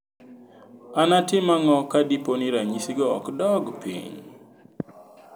Anatim ang'o ka dipo ni ranyisi go ok dog piny?